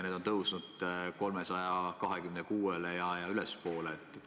Need on tõusnud 326 dollarini ja ülespoolegi.